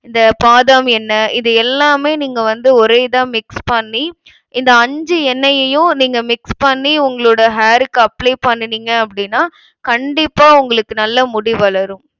இந்த பாதாம் எண்ணெய் இது எல்லாமே நீங்க வந்து ஒரே இதா mix பண்ணி இந்த அஞ்சு எண்ணெய்யையும் நீங்க mix பண்ணி உங்களோட hair க்கு apply பண்ணுனீங்க அப்டினா கண்டிப்பா உங்களுக்கு நல்லா முடி வளரும்.